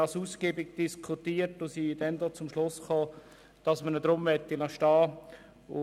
Das Thema wurde ausgiebig diskutiert, und wir kamen zum Schluss, dass wir den Artikel beibehalten wollen.